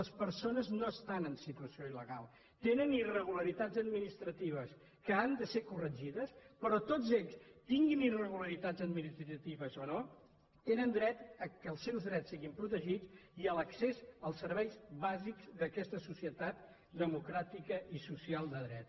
les persones no estan en situació il·legal tenen irregularitats administratives que han de ser corregides però tots ells tinguin irregularitats administratives o no tenen dret que els seus drets siguin protegits i a l’accés als serveis bàsics d’aquesta societat democràtica i social de dret